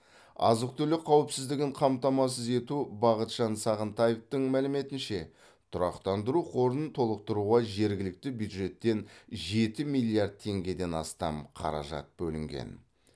азық түлік қауіпсіздігін қамтамасыз ету бақытжан сағынтаевтың мәліметінше тұрақтандыру қорын толықтыруға жергілікті бюджеттен жеті миллиард теңгеден астам қаражат бөлінген